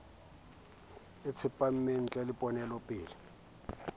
le tsepameng nlheng ya ponelopele